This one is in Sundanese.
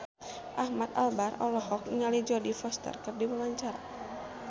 Ahmad Albar olohok ningali Jodie Foster keur diwawancara